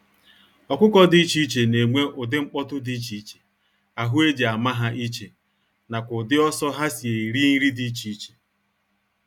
Ọkụkọ dị iche iche na enwe ụdị nkpọtu dị iche iche, ahụ eji ama ha iche, nakwa ụdị ọsọ ha si eri nri dị iche iche.